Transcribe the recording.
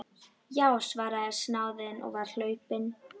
Já, svaraði snáðinn og var hlaupinn.